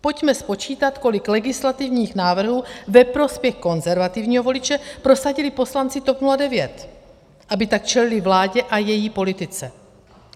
Pojďme spočítat, kolik legislativních návrhů ve prospěch konzervativního voliče prosadili poslanci TOP 09, aby tak čelili vládě a její politice.